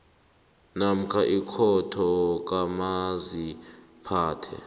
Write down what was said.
namkha ikhotho kamaziphathe